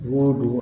Wo don